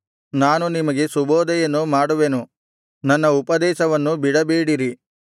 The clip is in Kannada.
ನಾನು ನಿಮಗೆ ಸುಬೋಧೆಯನ್ನು ಮಾಡುವೆನು ನನ್ನ ಉಪದೇಶವನ್ನು ಬಿಡಬೇಡಿರಿ